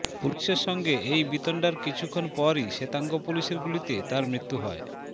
পুলিশের সঙ্গে এই বিতণ্ডার কিছুক্ষণ পরই শ্বেতাঙ্গ পুলিশের গুলিতে তার মৃত্যু হয়